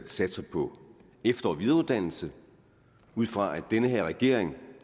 satser på efter og videreuddannelse ud fra at denne regering